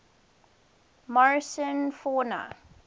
morrison fauna